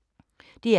DR K